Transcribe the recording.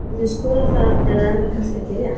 Hafið þið skoðað það eða er það kannski ekki rétt?